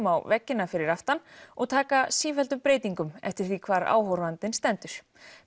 á veggina fyrir aftan og taka sífelldum breytingum eftir því hvar áhorfandinn stendur